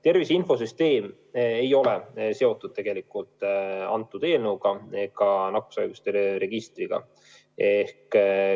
Tervise infosüsteem ei ole seotud selle eelnõuga ega nakkushaiguste registriga.